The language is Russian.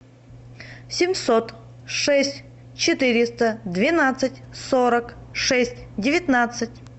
семьсот шесть четыреста двенадцать сорок шесть девятнадцать